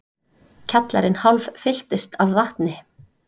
Kjallarinn hálffylltist af vatni